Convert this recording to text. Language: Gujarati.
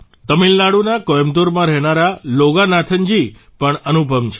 તમિળનાડુના કોયમ્બટૂરમાં રહેનારા લોગાનાથનજી પણ અનુપમ છે